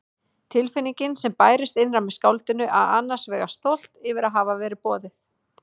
Tilfinningin sem bærist innra með skáldinu er annars vegar stolt yfir að hafa verið boðið.